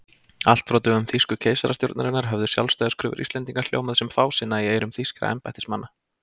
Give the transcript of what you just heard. Allt frá dögum þýsku keisarastjórnarinnar höfðu sjálfstæðiskröfur Íslendinga hljómað sem fásinna í eyrum þýskra embættismanna.